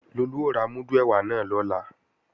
Lolú ó ra múdù ẹ̀wà náà lọ́la